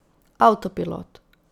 Avtopilot.